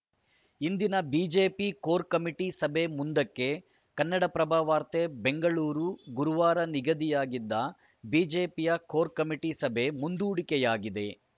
ಇಂದಿನ BJP core committee ಸಭೆ ಮುಂದಕ್ಕೆ ಕನ್ನಡಪ್ರಭ ವಾರ್ತೆ ಬೆಂಗಳೂರು ಗುರುವಾರ ನಿಗದಿಯಾಗಿದ್ದ ಬಿಜೆಪಿಯ ಕೋರ್‌ ಕಮಿಟಿ ಸಭೆ ಮುಂದೂಡಿಕೆಯಾಗಿದೆ